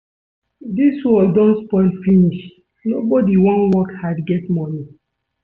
Dis world don spoil finish. Nobody wan work hard get money.